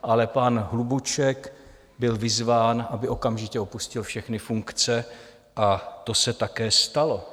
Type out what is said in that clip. Ale pan Hlubuček byl vyzván, aby okamžitě opustil všechny funkce, a to se také stalo.